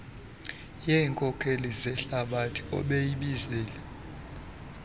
yeenkokeli zehlabathi obeyibizile